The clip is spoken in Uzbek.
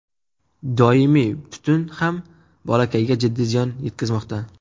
Doimiy tutun ham bolakayga jiddiy ziyon yetkazmoqda.